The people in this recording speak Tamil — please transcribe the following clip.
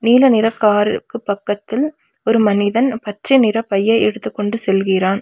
நீல நிற காருக்கு பக்கத்தில் ஒரு மனிதன் பச்சை நிற பையை எடுத்துக் கொண்டு செல்கிறான்.